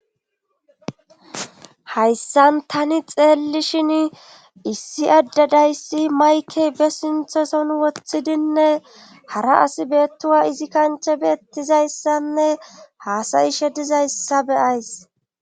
hayssan tani xeelli shin issi addadayssi maykey be sinthoson woththidinne hara as beettuwa izi kanche beettizayssanne haasayishe dizayssa beyays